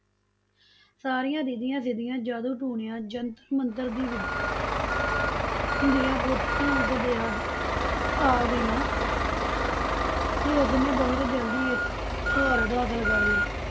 ਸਾਰੀਆਂ ਰਿਧੀਆਂ ਸਿਧੀਆਂ, ਜਾਦੂ ਟੂਣਿਆ, ਜੰਤਰ ਮੰਤਰ ਦੀ ਵਿਦਿਆ ਦੀਆਂ ਪੂਰੀਆਂ ਪੋਥੀਆਂ ਉਸਦੇ ਹੱਥ ਵਿਚ ਆ, ਆ ਗਈਆਂ ਤੇ ਉਸਨੇ ਬਹੁਤ ਜਲਦੀ ਇਸ ਤੇ ਮਹਾਰਥ ਹਾਸਲ ਕਰ ਲਈ।